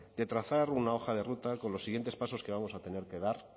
de trazar una hoja de ruta con los siguientes pasos que vamos a tener que dar